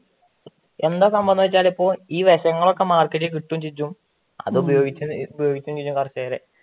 എന്താ സംഭവമെന്ന് വെച്ചാല് ഇപ്പൊ ഈ വെഷങ്ങളൊക്കെ മാർക്കറ്റിൽ കിട്ടുവേം ചെയ്യും അതും ഉപയോഗിച്ച് കുറച്ചു കാല